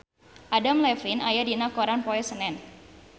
Adam Levine aya dina koran poe Senen